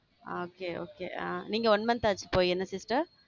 okay okay ஆ நீங்க one month ஆச்சு இப்போ என்ன sister?